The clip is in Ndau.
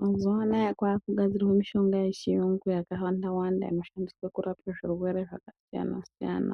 Mazuwa anaa kwakugadzirwa mishonga yechiyungu yakawanda wanda inoshandiswe kurapa zvirwere zvakasiyana siyana